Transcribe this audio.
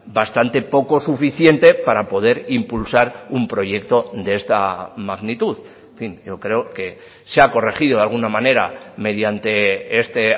bastante poco suficiente para poder impulsar un proyecto de esta magnitud en fin yo creo que se ha corregido de alguna manera mediante este